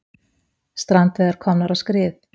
Strandveiðar komnar á skrið